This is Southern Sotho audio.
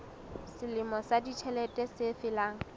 selemo sa ditjhelete se felang